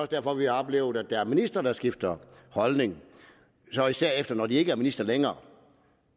derfor vi oplever at der er ministre der skifter holdning især når de ikke er ministre længere